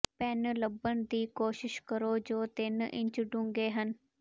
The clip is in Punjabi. ਪੈਨ ਲੱਭਣ ਦੀ ਕੋਸ਼ਿਸ਼ ਕਰੋ ਜੋ ਤਿੰਨ ਇੰਚ ਡੂੰਘੇ ਹਨ